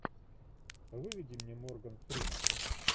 выведи мне морган фриман